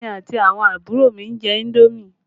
Èmi àti àwọn àbúrò mi ń jẹ indomi